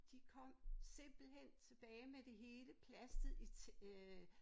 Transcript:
De kom simpelthen tilbage med det hele plastet i øh